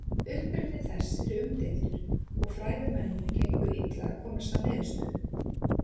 Uppruni þess er umdeildur og fræðimönnum gengur illa að komast að niðurstöðu.